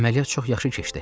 Əməliyyat çox yaxşı keçdi.